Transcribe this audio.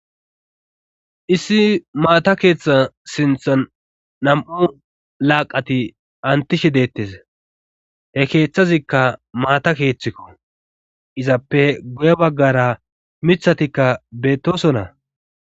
issi maata keeththa sinthan nam7u laaqati antishi deettes he keeththazikka maata keeththikko izappe guye baggara mithatikka beettosona